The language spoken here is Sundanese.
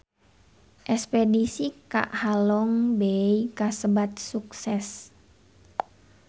Espedisi ka Halong Bay kasebat sukses